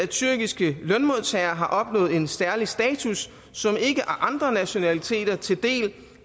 tyrkiske lønmodtagere har opnået en særlig status som ikke deles af andre nationaliteter